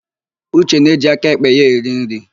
Uche na-eji aka èkpè ya eri nri.